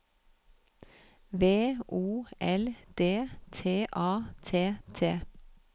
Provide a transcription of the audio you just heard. V O L D T A T T